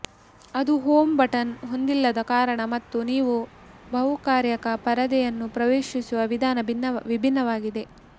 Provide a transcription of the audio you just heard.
ಅದು home button ಹೊಂದಿಲ್ಲದ ಕಾರಣ ಮತ್ತು ನೀವು ಬಹುಕಾರ್ಯಕ ಪರದೆಯನ್ನು ಪ್ರವೇಶಿಸುವ ವಿಧಾನ ವಿಭಿನ್ನವಾಗಿದೆ